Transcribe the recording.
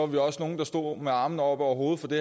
vi også nogle der stod med armene oppe over hovedet for det